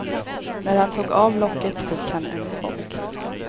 När han tog av locket fick han en chock.